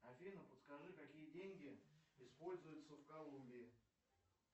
афина подскажи какие деньги используются в колумбии